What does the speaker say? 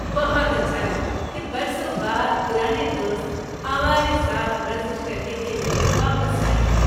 بہت اچھا لگا کہ برسوں بعد پرانے دوست ہمارے ساتھ ورزش کرنے کے لیے واپس آئے ہیں۔